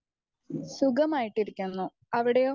Speaker 1 സുഖമായിരിക്കുന്നു അവിടെയോ?